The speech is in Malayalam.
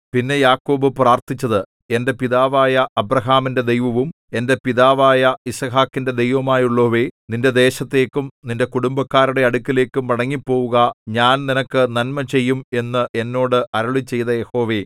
പിന്നെ യാക്കോബ് പ്രാർത്ഥിച്ചത് എന്റെ പിതാവായ അബ്രാഹാമിന്റെ ദൈവവും എന്റെ പിതാവായ യിസ്ഹാക്കിന്റെ ദൈവവുമായുള്ളോവേ നിന്റെ ദേശത്തേക്കും നിന്റെ കുടുംബക്കാരുടെ അടുക്കലേക്കും മടങ്ങിപ്പോവുക ഞാൻ നിനക്ക് നന്മ ചെയ്യും എന്ന് എന്നോട് അരുളിച്ചെയ്ത യഹോവേ